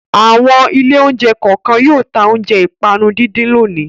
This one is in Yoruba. Àwọn ilé-oúnjẹ kọ̀ọ̀kan yóò ta oúnjẹ ìpanu díndín lónìí.